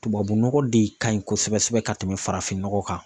Tubabunɔgɔ de ka ɲi kosɛbɛ kosɛbɛ ka tɛmɛ farafin nɔgɔ kan.